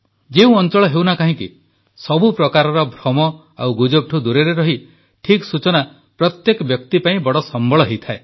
ଯେଉଁ ଅଂଚଳ ହେଉନା କାହିଁକି ସବୁ ପ୍ରକାରର ଭ୍ରମ ଓ ଗୁଜବଠୁ ଦୂରରେ ରହି ଠିକ୍ ସୂଚନା ପ୍ରତ୍ୟେକ ବ୍ୟକ୍ତି ପାଇଁ ବଡ଼ ସମ୍ବଳ ହୋଇଥାଏ